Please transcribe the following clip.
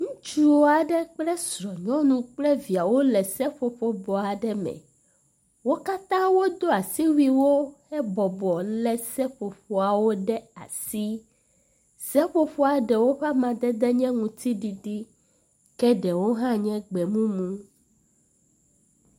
Ŋutsu aɖe kple srɔ̃nyɔnu kple via wole seƒoƒo bɔ aɖe me. Wo katã wodo asiwuiwo hebɔbɔ lé seƒoƒoawo ɖe asi. Seƒoƒoa ɖewo ƒe amadede nye aŋutiɖiɖi ke ɖewo hã nye gbemumu.